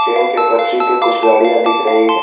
Train के पटरी पे कुछ गाड़ियां दिख रही है।